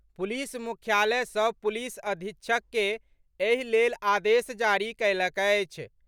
Police मुख्यालय सभ police अधीक्षक के एहि लेल आदेश जारी कयलक अछि।